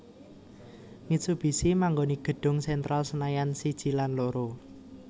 Mitsubishi manggoni gedung Sentral Senayan siji lan loro